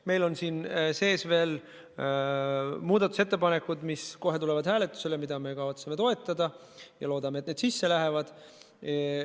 Meil on siin sees veel muudatusettepanekud, mis kohe tulevad hääletusele, mida me kavatseme toetada ja loodame, et need sisse lähevad.